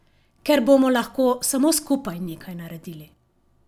Ker bomo lahko samo skupaj nekaj naredili.